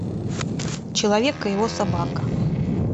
человек и его собака